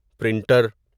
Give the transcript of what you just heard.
printer